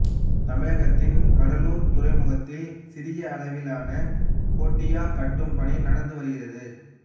தமிழகத்தின் கடலூர் துறைமுகத்தில் சிறிய அளவிலான கோட்டியா கட்டும் பணி நடந்து வருகிறது